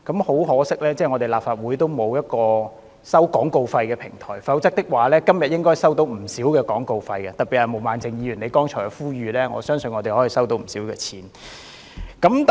很可惜，立法會沒有一個收取廣告費的平台，否則今天應該可以進帳不少，特別是就毛孟靜議員剛才的呼籲，我相信立法會應可收取不少廣告費。